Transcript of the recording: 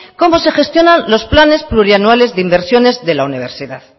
cómo se gestionan los planes plurianuales de inversiones de la universidad